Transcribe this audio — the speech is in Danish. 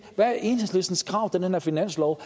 hvad er enhedslistens krav til den her finanslov